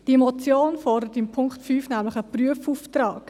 Die Motion fordert in Punkt 5 nämlich einen Prüfauftrag.